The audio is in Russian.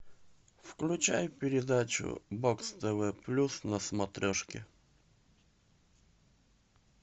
включай передачу бокс тв плюс на смотрешке